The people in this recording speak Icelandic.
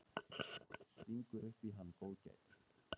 Stingur upp í hann góðgæti.